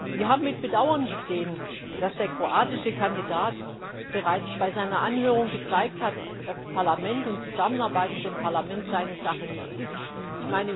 Wir haben mit Bedauern gesehen, dass der kroatische Kandidat bereits bei seiner Anhörung gezeigt hat, dass das Parlament und die Zusammenarbeit mit dem Parlament seine Sache nicht sind.